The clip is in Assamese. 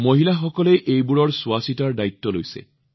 মহিলাসকলে ইয়াৰ যত্নৰ সম্পূৰ্ণ দায়িত্ব লৈছে